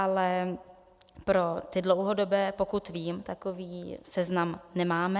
Ale pro ty dlouhodobé, pokud vím, takový seznam nemáme.